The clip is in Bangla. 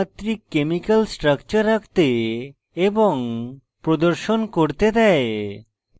দ্বিমাত্রিক chemical স্ট্রাকচার আঁকতে এবং প্রদর্শন করতে দেয়